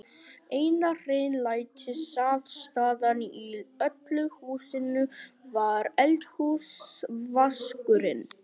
Eina hreinlætisaðstaðan í öllu húsinu var eldhúsvaskurinn.